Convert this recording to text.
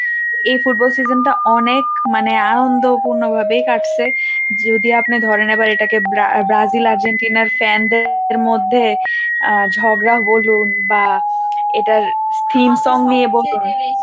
এই football season টা অনেক মানে আনন্দপূর্ণভাবেই কাটছে। যদি আপনি ধরেন এবার এটাকে ব্রা~ব্রাজিল আর্জেন্টিনার fan দের মধ্যে ঝগড়া বলুন বা এটার theme song নিয়ে বলতেন